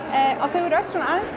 þau eru öll svona aðeins